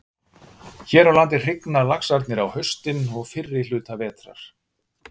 Hér á landi hrygna laxarnir á haustin og fyrri hluta vetrar.